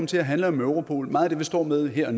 til at handle om europol meget af det vi står med her